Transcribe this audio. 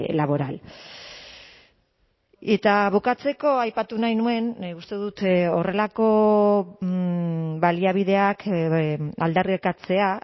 laboral eta bukatzeko aipatu nahi nuen nik uste dut horrelako baliabideak aldarrikatzea